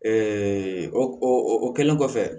o o kɛlen kɔfɛ